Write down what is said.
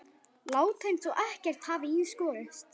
Láta eins og ekkert hafi í skorist.